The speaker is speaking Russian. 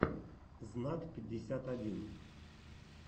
знат пятьдесят один